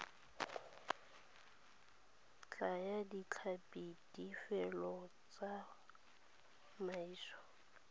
thaya ditlhapi lefelo la tsamaiso